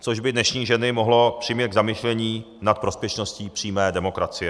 Což by dnešní ženy mohlo přimět k zamyšlení nad prospěšností přímé demokracie.